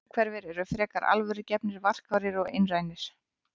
Innhverfir eru frekar alvörugefnir, varkárir og einrænir.